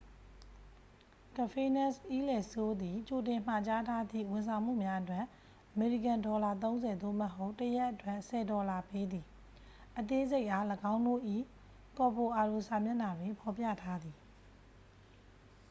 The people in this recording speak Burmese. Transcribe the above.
"""ကဖေးနက်တ် အီးလယ်လ် စိုးလ် သည် ကြိုတင်မှာကြားထားသည့် ဝန်ဆောင်မှုများအတွက် အမေရိကန်ဒေါ်လာ ၃၀ သို့မဟုတ် တစ်ရက် အတွက် ၁၀ ဒေါ်လာပေးသည်၊အသေးစိတ်အား ၎င်းတို့၏ ကော်ဗိုအာဒို စာမျက်နှာတွင် ဖော်ပြထားသည်။ "